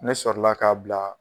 Ne sɔrɔla ka bila